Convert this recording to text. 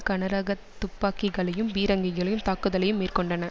கனரக துப்பாக்கிகளையும் பீரங்கிகளையுத் தாக்குதலையும் மேற்கொண்டன